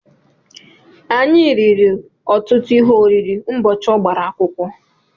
Anyị riri ọtụtụ ihe oriri ụbọchị ọ gbara akwụkwọ.